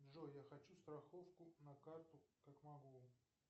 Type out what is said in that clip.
джой я хочу страховку на карту